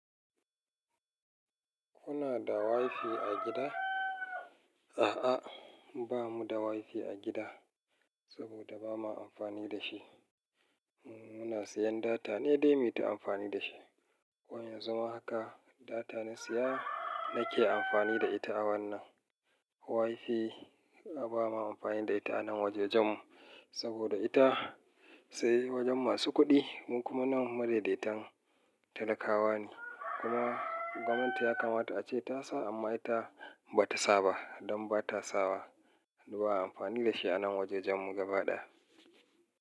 Kuna da wifi a gida? A'a, ba mu da wifi a gida saboda ba ma amfani da shi. Muna siyan data ne dai mu yi ta amfani da shi. Yanzu ma haka data na siya nake amfani da ita a wannan. Wifi na ba ma amfani da ita a nan wajajen saboda ita sai wajen masu kuɗi don kuma nan madaidaitan talakawa ne. Kuma gwamnati ya kamata a ce ta sa amma ita ba ta sa ba. Don ba ta sa wa, ba a yi amfani da shi a nan wajajen mu gaba ɗaya.